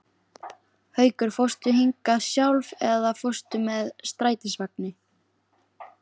Haukur: Fórstu hingað sjálf eða fórstu með strætisvagni?